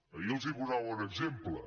ahir els en posava un exemple